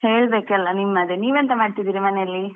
ಹೇಳ್ಬೇಕೆಲ್ಲಾ ನಿಮ್ಮದೇ, ನೀವೆಂತಾ ಮಾಡ್ತಿದೀರಾ ಮನೇಲಿ?